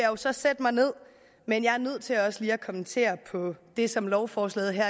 jo så sætte mig ned men jeg er nødt til også lige at kommentere på det som lovforslaget her